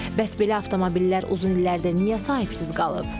Bəs belə avtomobillər uzun illərdir niyə sahibsiz qalıb?